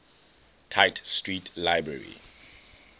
tite street library